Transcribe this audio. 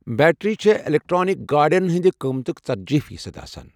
Battery چھے٘ electric گادین ہندِ قٕمتٗك ژدجی فیصد آسان ۔